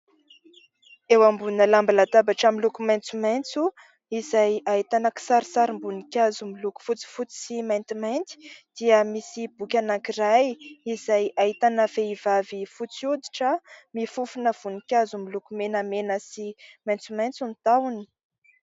Eo ambonina lamba latabatra miloko maitsomaitso izay ahitana kisarisarim-boninkazo miloko fotsifotsy sy maintimainty dia misy boky anankiray izay ahitana vehivavy fotsy oditra mifofona voninkazo miloko menamena sy maitsomaitso ny tahony.